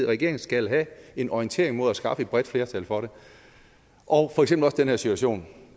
regering skal have en orientering mod at skaffe et bredt flertal for det og for eksempel også den her situation